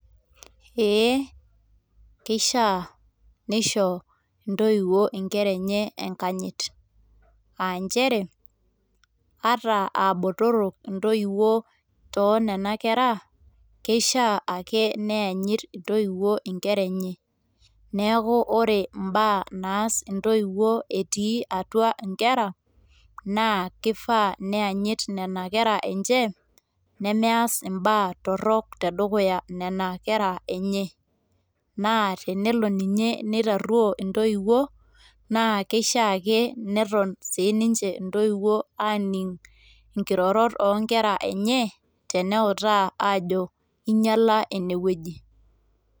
Ee kishaa nisho intoiwuo inkera enye enkanyit aa nchere ata aa botorok intoiwuo toonena kera keishiaa ake nianyit intopiwuo inkera enye . niaku ore mbaa naas intoiwuo etii atua inkera naa kifaa nianyit nena kera enje nemeas mbaa torok tedukuya nena kera enye, naa tenelo ninye neitaruoo intoiwuo naa keishiaa neton sininche intoiwuo aningu nkirorot oonkera enye teneutaa ajo inyiala ine wueji.